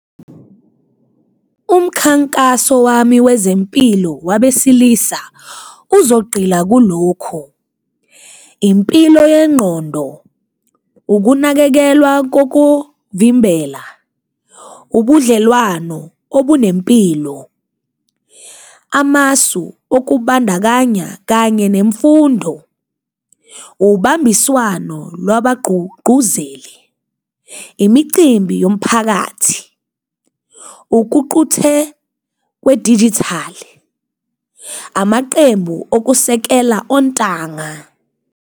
Umkhankaso wami wezempilo wabesilisa uzogqila kulokhu, impilo yengqondo, ukunakekelwa kokuvimbela, ubudlelwano obunempilo, amasu okubandakanya kanye nemfundo, ubambiswano lwabagqugquzeli, imicimbi yomphakathi, ukuquthe kwedijithali, amaqembu okusekela ontanga.